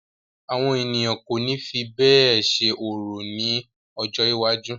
Àwọn ènìyàn kò ní fi bẹ́ẹ̀ ṣe orò ni ojó iwájú.